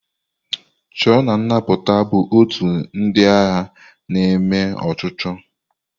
Chọọ na nnapụta bụ ótù ndị agha na-eme ọchụchọ.